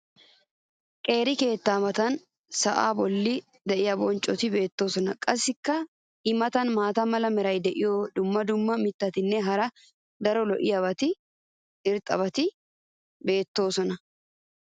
qeeri keettee matan sa"aa boli diya bonccoti beetoosona. qassi i matan maata mala meray diyo dumma dumma mitatinne hara daro lo'iya irxxabati beetoosona.